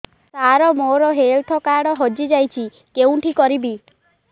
ସାର ମୋର health card ହଜି ଯାଇଛି କେଉଁଠି କରିବି